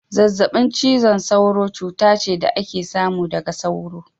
Zazzabin cizon sauro cuta ce da ake samu daga sauro.